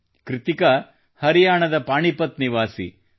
ಕೃತ್ತಿಕಾ ಹರಿಯಾಣದ ಪಾಣಿಪತ್ ನಿವಾಸಿ